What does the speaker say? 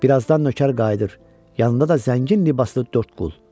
Bir azdan nökər qayıdır, yanında da zəngin libaslı dörd qul.